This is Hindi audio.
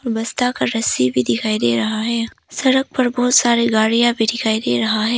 बस्ता का रस्सी भी दिखाई दे रहा है सड़क पर बहुत सारी गाड़ियां भी दिखाई दे रहा है।